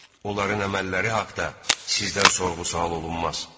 Onların əməlləri haqda sizdən sorğu-sual olunmaz.